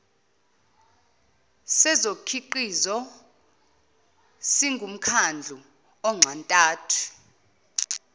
sezokhiqizo singumkhandlu onxantathu